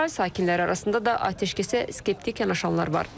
İsrail sakinləri arasında da atəşkəsə skeptik yanaşanlar var.